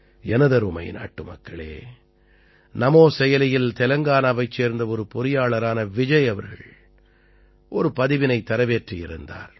எனதருமை நாட்டுமக்களே நமோ செயலியில் தெலங்கானாவைச் சேர்ந்த ஒரு பொறியாளரான விஜய் அவர்கள் ஒரு பதிவினைத் தரவேற்றி இருந்தார்